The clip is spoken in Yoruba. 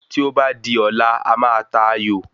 Tí o ba di ọ̀la a máa ta ayò